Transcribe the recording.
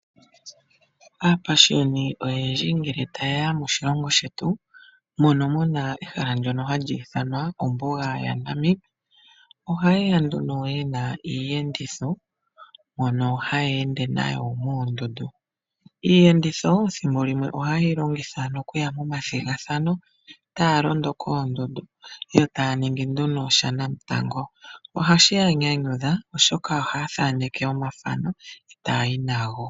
Aapashiyoni oyendji ngele taye ya moshilongo shetu mono mu na ehala ndyono hali ithanwa ombuga yaNamib, ohaye ya nduno ye na iiyenditho mbyono haye ende nayo moondundu. Iiyenditho thimbo limwe ohaye yi longitha okuya momathigathano taa londo koondundu yo taya ningi nduno shanamutango. Ohashi ya nyanyudha, oshoka ohaya thaneke omathano, e taya yi nago.